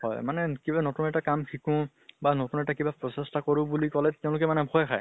হয়। মানে কিবা এটা নতুন কাম শিকো বা নতুন এটা কিবা প্ৰচেষ্টা কৰো বুলি কলে তেওঁলোকে মানে ভয় খায়।